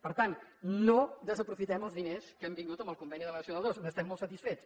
per tant no desaprofitem els diners que han vingut amb el conveni de la nacional ii n’estem molt satisfets